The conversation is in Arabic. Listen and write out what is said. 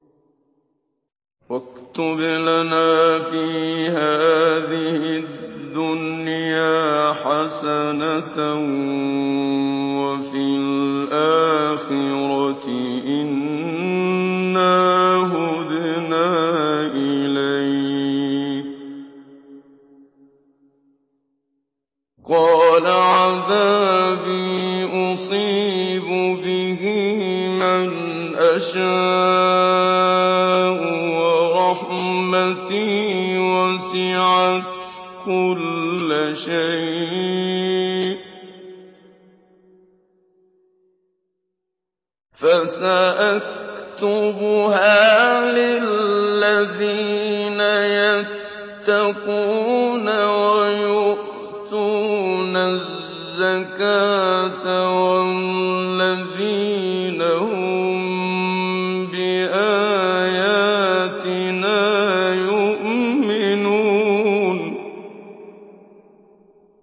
۞ وَاكْتُبْ لَنَا فِي هَٰذِهِ الدُّنْيَا حَسَنَةً وَفِي الْآخِرَةِ إِنَّا هُدْنَا إِلَيْكَ ۚ قَالَ عَذَابِي أُصِيبُ بِهِ مَنْ أَشَاءُ ۖ وَرَحْمَتِي وَسِعَتْ كُلَّ شَيْءٍ ۚ فَسَأَكْتُبُهَا لِلَّذِينَ يَتَّقُونَ وَيُؤْتُونَ الزَّكَاةَ وَالَّذِينَ هُم بِآيَاتِنَا يُؤْمِنُونَ